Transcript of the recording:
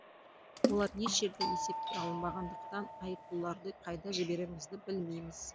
олар еш жерде есепке алынбағандықтан айыппұлдарды қайда жіберерімізді білмейміз